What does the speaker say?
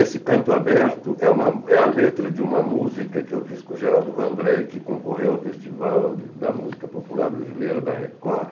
Esse Canto Aberto é uma é a letra de uma música que eu fiz com o Geraldo Vandré, que concorreu ao Festival da Música Popular Brasileira, da Record.